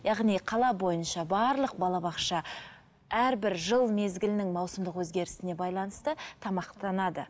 яғни қала бойынша барлық балабақша әрбір жыл мезгілінің маусымдық өзгерісіне байланысты тамақтанады